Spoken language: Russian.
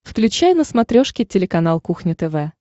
включай на смотрешке телеканал кухня тв